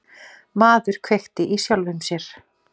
Maður kveikti í sjálfum sér